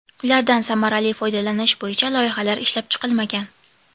Ulardan samarali foydalanish bo‘yicha loyihalar ishlab chiqilmagan.